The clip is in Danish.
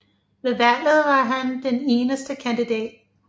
Ved valget var han den eneste kandidat